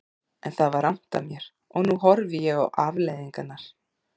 En það var rangt af mér og nú horfi ég upp á afleiðingarnar.